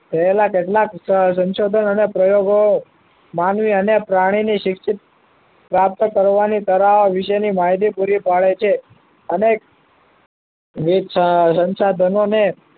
પહેલા કેટલાક સંશોધનોના પ્રયત્નો પ્રયોગો માનવી અને પ્રાણીની શિક્ષિત પ્રાપ્ત કરવાની સલાહ વિશેની માહિતી પૂરી પાડે છે અનેક સંસાધનોને